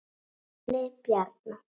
Benni Bjarna.